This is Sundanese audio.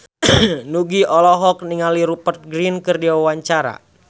Nugie olohok ningali Rupert Grin keur diwawancara